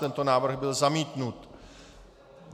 Tento návrh byl zamítnut.